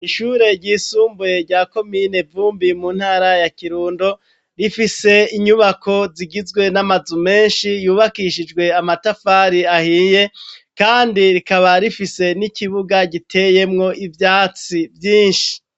Ishure ry'isumbuye rya komine Vumbi mu ntara ya Kirundo, rifise inyubako zigizwe n'amazu menshi yubakishijwe amatafari ahiye, kandi rikaba rifise n'ikibuga giteyemwo ivyatsi vyinshi.